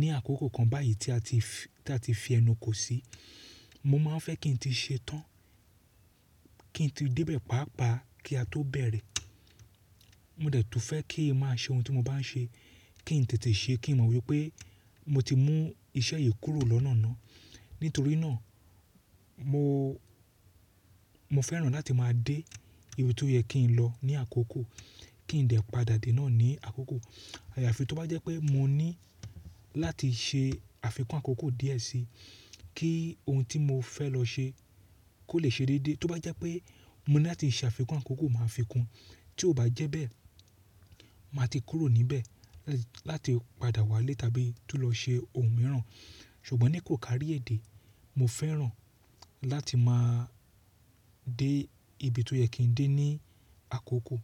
ní àkókò kan báyìí tí a ti fi, tí a ti fi ẹnu kò sí, mo má a fẹ́ kí n tí ṣe tán, kí n tí dẹ́bẹ̀ pápa kí a tó bẹ̀rẹ̀. Mo dẹ̀ tún fẹ́ kí ì má a ṣe ohun tí mo bá n ṣe kí n tètè ṣe kí n mọ̀ wípé mo ti mú iṣẹ́ yìí kúrò lọ́nà ná. Nítorí náà mo, mo fẹ́ràn láti má a dé ibi tó yẹ kí n lọ ní àkókò, kí n dẹ̀ padà dé náà ní àkókò. Ààyà fi tó bá jẹ́ pé mo ní láti ṣe àfikún àkókò díẹ̀ sí i kí ohun tí mo fẹ́ lọ ṣe kó lè ṣe déédéé. Tó bá jẹ́ pé mo ní láti ṣe àfikún àkókò má a fi kún. Tí ó bá jẹ́ bẹ́ẹ̀, mà á ti kúrò níbẹ̀ láti padà wá lé tàbí tún lọ ṣe ohun mìíràn. Ṣùgbọ́n ní kò kárí èdè, mo fẹ́ràn láti má a dé ibi tó yẹ kí n dé ní àkókò.